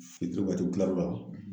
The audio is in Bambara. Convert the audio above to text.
Fitiri wagati , u tila l'o la.